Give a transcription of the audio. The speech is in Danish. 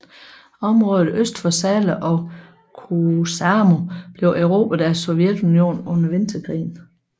Området øst for Salla og Kuusamo blev erobret af Sovjetunionen under Vinterkrigen